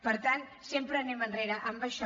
per tant sempre anem enrere amb això